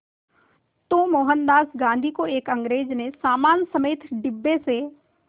तो मोहनदास गांधी को एक अंग्रेज़ ने सामान समेत डिब्बे से